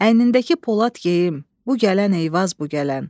Əynindəki Polad geyim, bu gələn Eyvaz bu gələn.